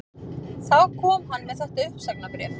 Þá kom hann með þetta uppsagnarbréf